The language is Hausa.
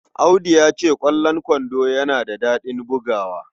Audu ya ce, "Ƙwallon kwando yana da daɗin bugawa."